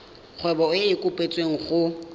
kgwebo e e kopetswengcc go